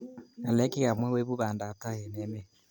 Ngalek chekamwa koibu bandaptai eng emet